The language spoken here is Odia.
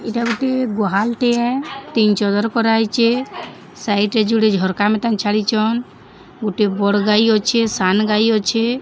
ଇଟା ଗୁଟେ ଗୁହାଲ ଟିଏ ସାଇଟ୍ ରେ ଯୁଡେ ଝର୍କା ଛାଡ଼ିଛନ ଗୁଟେ ବଡ଼ ଗାଈ ଅଛେ ସାନ୍ ଗାଈ ଅଛେ।